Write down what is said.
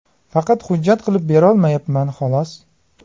Faqat hujjat qilib berolmayapman, xolos.